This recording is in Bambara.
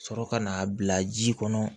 Sɔrɔ ka n'a bila ji kɔnɔ